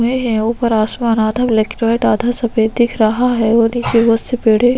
लगे हुए है ऊपर आसमान आधा ब्लैक आधा सफ़ेद दिख रहा है और निचे बहोत से पेड़े--